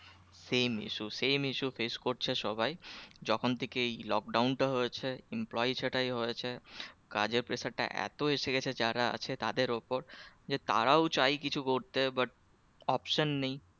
Same issue Same issue face করছে সবাই যখন থেকে এই lock down টা employee ছাঁটাই হয়েছে কাজের pressure টা এত এসে গেছে যারা আছে তাদের ওপর যে তারও চাই কিছু করতে but option নেই